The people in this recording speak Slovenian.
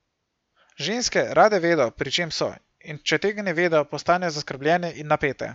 Ženske rade vedo, pri čem so in če tega ne vedo, postanejo zaskrbljene in napete.